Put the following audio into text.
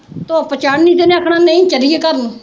ਧੁੱਪ ਚੜਨੀ ਤੇ ਇਹਨੇ ਆਖਣਾ ਨਈਂ, ਚੱਲੀਏ ਘਰ ਨੂੰ